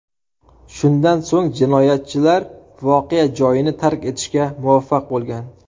Shundan so‘ng jinoyatchilar voqea joyini tark etishga muvaffaq bo‘lgan.